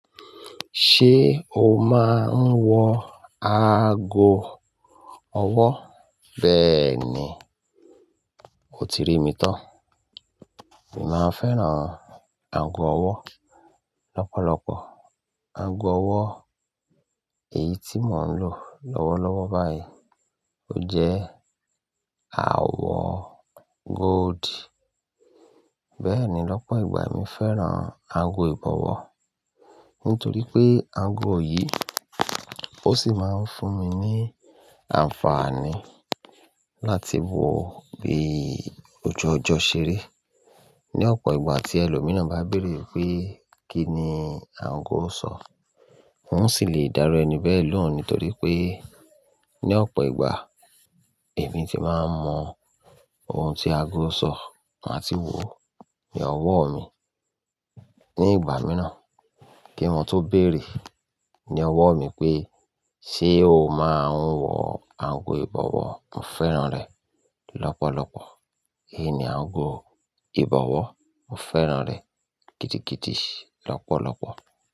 Ṣé o máa ń wọ ago ọwọ́? Bẹ́ẹ̀ ni, o ti ri mi tán. Èmi máa ń fẹ́ràn ago ọwọ́ lọ́pọ̀lọpọ̀. Ago ọwọ́ èyí tí mò ń lò lọ́wọ́lọ́wọ́ báyìí, ó jẹ́ àwọ̀ gold bẹ́ẹ̀ ni, lọ́pọ̀ ìgbà èmi fẹ́ràn ago ìbọ̀wọ́ nítorí pé ago yìí, ó sì máa ń fún mi ní àǹfààní láti wò ó bí ojú ọjọ́ ṣe rí. Ni ọ̀pọ̀ ìgbà tí ẹlòmíràn bá béèrè wipé kí ni ago sọ, n ó sì lè dá'ru ẹni bẹ́ẹ̀ lohun nítorí pé ní ọ̀pọ̀ ìgbà, èmi ti máa ń mọ ohun tí ago ṣọ, má ti wò ó ní ọwọ́ mi. Ni ìgbà mìíràn kí wọn tó béèrè ní ọwọ́ mi pé ṣé o máa ń wọ ago ìbọ̀wọ́? Mo fẹ́ràn rẹ̀ lọ́pọ̀lọpọ̀. Èyí ni ago ìbọ̀wọ́, mo fẹ́ràn rẹ̀ gidigidi lọ́pọ̀lọpọ̀.